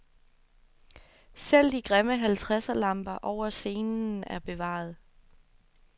Selv de grimme halvtredserlamper over scenen er bevaret.